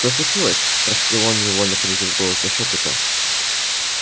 что случилось спросил он невольно понизив голос до шёпота